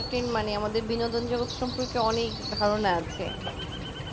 entertain মানে আমাদের বিনোদন জগতের সম্পর্কে অনেক ধারণা আছে,